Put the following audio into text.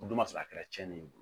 O dun b'a sɔrɔ a kɛra tiɲɛni ye